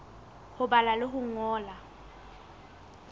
ho bala le ho ngola